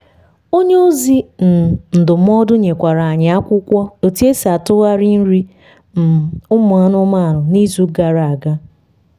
onye ozi um ndụmọdụ nyekwara anyi akwụkwọ otu esi atụghari nri um ụmụ anụmanụ na izu gara aga